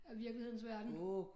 Af virkelighedens verden